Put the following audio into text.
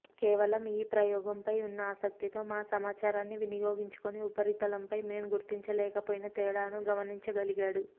కేవలం ఈ ప్రయోగంపై ఉన్న ఆసక్తితో మా సమాచారాన్ని వినియోగించుకొని ఉపరితలంపై మేం గుర్తించలేకపోయిన తేడాను గమనించగలిగాడు